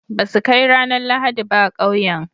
ba su Kai ranar lahadi ba a kauyen